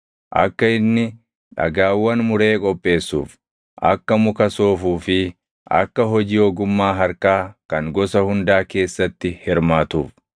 akka inni dhagaawwan muree qopheessuuf, akka muka soofuu fi akka hojii ogummaa harkaa kan gosa hundaa keessatti hirmaatuuf.